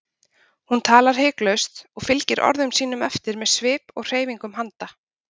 Hún talar hiklaust og fylgir orðum sínum eftir með svip og hreyfingum handa.